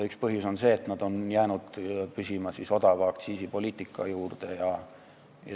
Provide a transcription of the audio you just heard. Üks põhjusi on see, et nad on jäänud püsima odava aktsiisi poliitika juurde.